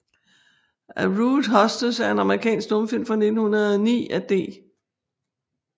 A Rude Hostess er en amerikansk stumfilm fra 1909 af D